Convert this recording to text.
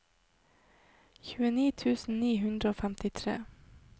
tjueni tusen ni hundre og femtitre